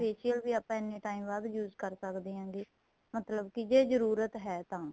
facial ਵੀ ਆਪਾਂ ਇੰਨੇ time ਬਾਅਦ use ਕਰ ਸਕਦੇ ਹਾਂ ਹੈਗੇ ਮਤਲਬ ਕੀ ਜੇ ਜਰੂਰਤ ਹੈ ਤਾਂ